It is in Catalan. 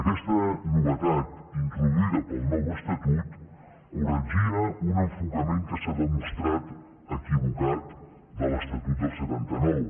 aquesta novetat introduïda pel nou estatut corregia un enfocament que s’ha demostrat equivocat de l’estatut del setanta nou